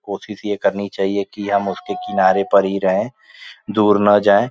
कोशिश यह करनी चाहिए कि हम उसके किनारे पर ही रहें दूर ना जाएं।